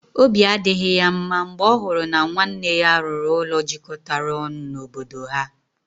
Obi adịghị ya mma mgbe ọ hụrụ na nwanne ya rụrụ ụlọ jikọtara ọnụ n'obodo ha.